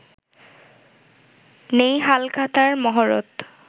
নেই ‘হালখাতা’র মহরত